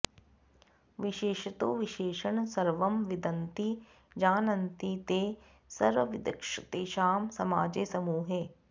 विशेषतो विशेषण सर्वं विन्दन्ति जानन्ति ते सर्वविदस्तेषां समाजे समूहे